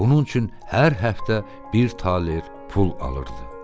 Bunun üçün hər həftə bir taler pul alırdı.